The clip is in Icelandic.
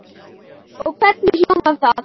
Og hvernig hljómar það?